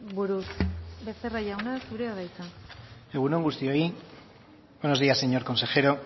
buruz becerra jauna zurea da hitza egun on guztiok buenos días señor consejero